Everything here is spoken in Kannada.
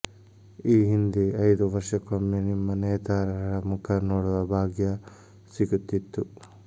ಈ ಹಿಂದೆ ಐದು ವರ್ಷಕ್ಕೊಮ್ಮೆ ನಿಮ್ಮ ನೇತಾರರ ಮುಖ ನೋಡುವ ಭಾಗ್ಯ ಸಿಗುತ್ತಿತ್ತು